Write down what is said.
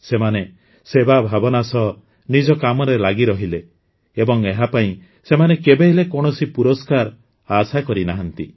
ସେମାନେ ସେବା ଭାବନା ସହ ନିଜ କାମରେ ଲାଗି ରହିଲେ ଏବଂ ଏହାପାଇଁ ସେମାନେ କେବେହେଲେ କୌଣସି ପୁରସ୍କାର ଆଶା କରିନାହାନ୍ତି